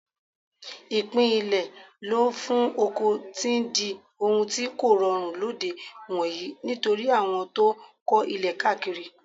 Ìpín ilẹ̀ lò fún oko ti ń di ohun tí kòrọrùn lóde ìwòyí nítorí àwọn tó ń kọ́ ilé káàkiri.